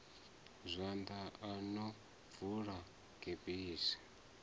zwanḓa o no bvula gebisi